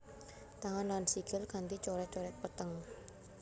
Tangan lan sikil kanti coret coret peteng